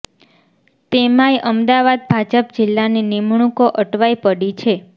તેમાં ય અમદાવાદ ભાજપ જિલ્લાની નિમણૂંકો અટવાઇ પડી છે